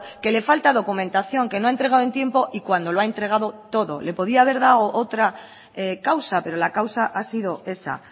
que le falta documentación que no ha entregado en tiempo y que cuando lo ha entregado todo le podía haber dado otra causa pero la causa ha sido esa